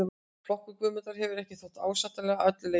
Flokkun Guðmundar hefur ekki þótt ásættanleg að öllu leyti.